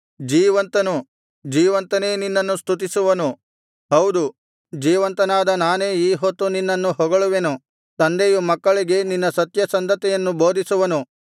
ಜೀವಂತನು ಜೀವಂತನೇ ನಿನ್ನನ್ನು ಸ್ತುತಿಸುವನು ಹೌದು ಜೀವಂತನಾದ ನಾನೇ ಈ ಹೊತ್ತು ನಿನ್ನನ್ನು ಹೊಗಳುವೆನು ತಂದೆಯು ಮಕ್ಕಳಿಗೆ ನಿನ್ನ ಸತ್ಯಸಂಧತೆಯನ್ನು ಬೋಧಿಸುವನು